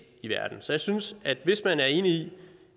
i verden så jeg synes at hvis man er enig i